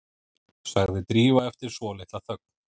sagði Drífa eftir svolitla þögn.